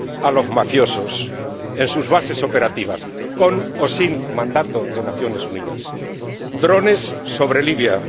neutralizar a los mafiosos en sus bases operativas, con o sin mandato de las Naciones Unidas drones